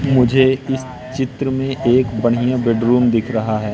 मुझे इस चित्र में बढ़िया बेडरुम दिख रहा है।